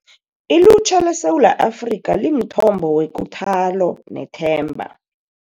Ilutjha leSewula Afrika Limthombo Wekuthalo Nethemba